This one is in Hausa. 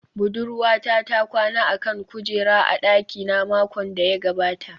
Budurwata ta kwana a kan kujera a dakina makon da ya gabata